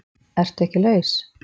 Ertu ekki laus?